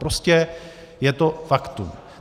Prostě je to faktum.